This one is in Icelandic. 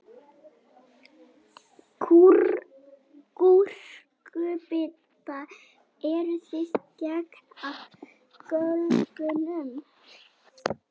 Gúrkubita, eruð þið gengin af göflunum?